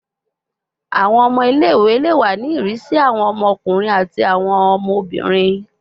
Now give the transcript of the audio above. Awọn ọmọ ile-iwe le wa ni irisi awọn ọmọkunrin ati awọn ọmọbirin